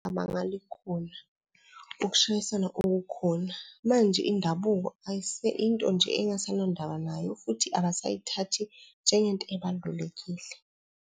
Amangala ikhona, ukushayisana okukhona. Manje indabuko into nje engasanandaba nayo. Futhi abasayithathi njengento ebalulekile.